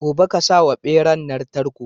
Gobe ƙasawa beran nan tarko